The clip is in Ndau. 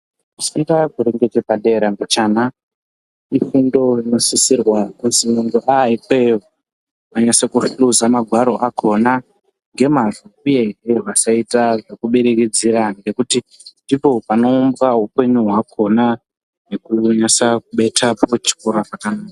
Kufunda kuri ngechepadera mbichana ifundo i osisirwa kuzi muntu aaikweyo unose kuhluza magwaro akhona ngemazvo uyehe vasaita zvekubirirdzira nekuti ndipo panounza upenyu hwakhona nekuhwinisa kubeta kuchikora kwakanaka.